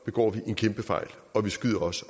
begår vi en kæmpefejl og vi skyder os